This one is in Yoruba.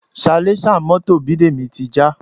Salẹ́sà mọ́tò Bidemi ti já